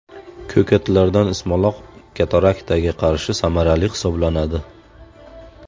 Ko‘katlardan ismaloq kataraktaga qarshi samarali hisoblanadi.